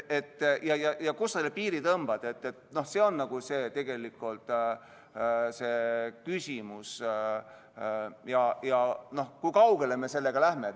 Kuhu me selle piiri tõmbame, see on tegelikult küsimus, ja kui kaugele me sellega läheme.